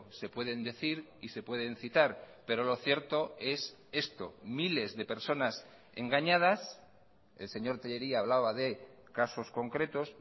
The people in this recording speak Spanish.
se pueden decir y se pueden citar pero lo cierto es esto miles de personas engañadas el señor tellería hablaba de casos concretos